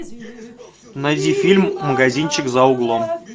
найди фильм магазинчик за углом